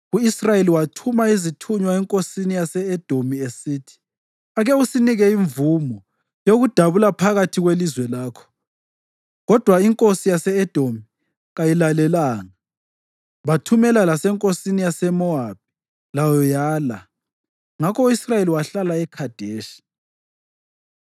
U-Israyeli wathuma izithunywa enkosini yase-Edomi esithi, ‘Ake usinike imvumo yokudabula phakathi kwelizwe lakho,’ kodwa inkosi yase-Edomi kayilalelanga. Bathumela lasenkosini yaseMowabi, layo yala. Ngakho u-Israyeli wahlala eKhadeshi.